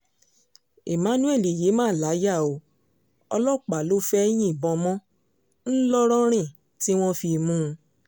emmanuel yìí mà láyà o ọlọ́pàá ló fẹ́ẹ́ yìnbọn mọ́ ńlọrọrìn tí wọ́n fi mú un